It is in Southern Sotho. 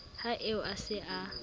ha eo a se a